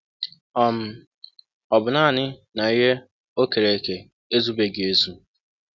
um Ọ bụ nanị um na ihe o um kere eke ezụbeghị ezụ.